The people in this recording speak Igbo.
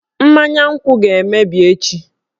Mmanya nkwu ga-emebi echi